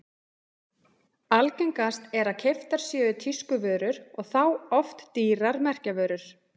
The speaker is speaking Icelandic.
Algengast er að keyptar séu tískuvörur og þá oft dýrar merkjavörur.